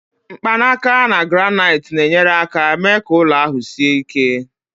mkpanaka na granaiti na-enyere aka mee ka ụlọ ahụ sie ike